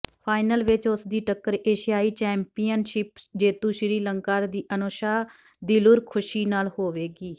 final ਵਿਚ ਉਸਦੀ ਟੱਕਰ ਏਸ਼ਿਆਈ ਚੇੈਂਪੀਅਨਸ਼ਿਪ ਜੇਤੂ ਸ੍ਰੀਲੰਕਾ ਦੀ ਅਨੂਸ਼ਾ ਦਿਲਰੁਖਸ਼ੀ ਨਾਲ ਹੋਵੇਗੀ